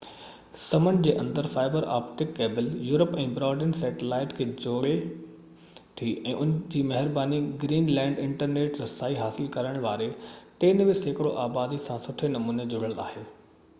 سمنڊ جي اندر fibre optic cable Europe ۽ broadband satellite کي جوڙي ٿي ان جي مهرباني گرين لينڊ انٽرنيٽ رسائي حاصل ڪرڻ واري 93% آبادي سان سٺي نموني جڙيل آهي